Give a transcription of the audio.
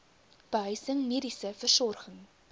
behuising mediese versorging